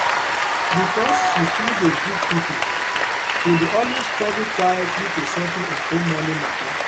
because she too dey give people she dey always struggle quietly to settle her own money matter.